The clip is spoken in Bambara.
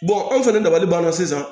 anw fɛnɛ dabalibanna sisan